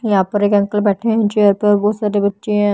यहां पर एक अंकल बैठे हैं चेयर पर और बहुत सारे बच्चे हैं--